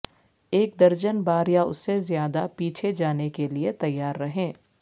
ایک درجن بار یا اس سے زیادہ پیچھے جانے کے لئے تیار رہیں